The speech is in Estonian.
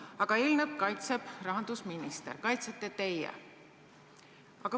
Aga eelnõu kaitseb rahandusminister, kaitsete teie.